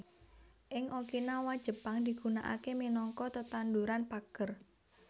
Ing Okinawa Jepang digunaaké minangka tetanduran pager